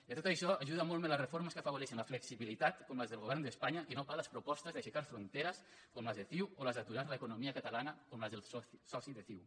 i a tot això hi ajuden molt més les reformes que afavoreixen la flexibilitat com les del govern d’espanya que no pas les propostes d’aixecar fronteres com les de ciu o les d’aturar l’economia catalana com les del soci de ciu